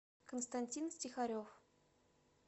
константин стихарев